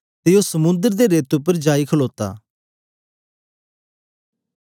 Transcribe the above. ते ओ समुंद्र दे रेते उपर जाई खलोता